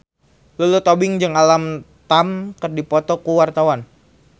Lulu Tobing jeung Alam Tam keur dipoto ku wartawan